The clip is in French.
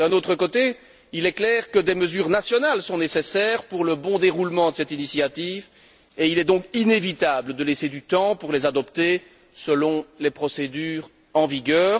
D'un autre côté, il est clair que des mesures nationales sont nécessaires pour le bon déroulement de cette initiative et il est donc inévitable de laisser du temps pour les adopter selon les procédures en vigueur.